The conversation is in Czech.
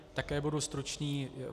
Také budu stručný.